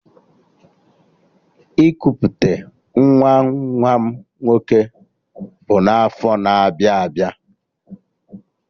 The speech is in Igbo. Ikuputa nwa nwa m nwoke bụ n'afọ na-abịa abịa